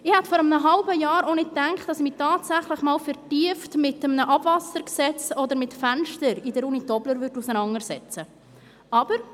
Ich hätte vor einem halben Jahr auch nicht gedacht, dass ich mich tatsächlich einmal vertieft mit einem Abwassergesetz oder mit Fenstern in der Uni Tobler auseinandersetzen würde.